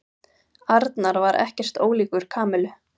Arnar var ekkert ólíkur Kamillu.